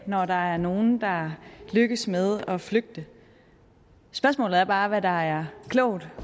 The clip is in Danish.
når der er nogle der lykkes med at flygte spørgsmålet er bare hvad der er klogt